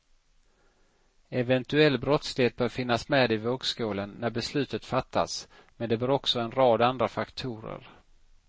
Eventuell brottslighet bör finnas med i vågskålen när beslutet fattas, men det bör också en rad andra faktorer.